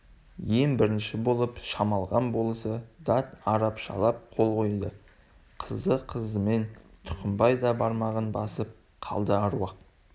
ең бірінші болып шамалған болысы дат арапшалап қол қойды қызды-қыздымен тұқымбай да бармағын басып қалды әруақ